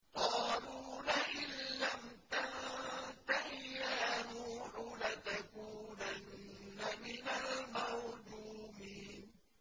قَالُوا لَئِن لَّمْ تَنتَهِ يَا نُوحُ لَتَكُونَنَّ مِنَ الْمَرْجُومِينَ